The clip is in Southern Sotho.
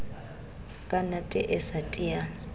ka nate e sa tiyang